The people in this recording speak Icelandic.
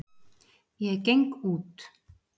Ég geng út.